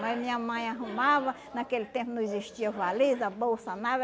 Mas minha mãe arrumava, naquele tempo não existia valisa, bolsa, nada.